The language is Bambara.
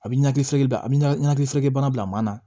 A bɛ nakili fere a bɛ nakili fereke bana bila maa na